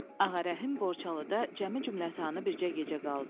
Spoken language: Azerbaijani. Ağarəhim Borçalıda cəmi cümətanı bircə gecə qaldı.